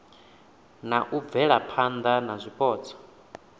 na u bvelaphana na zwipotso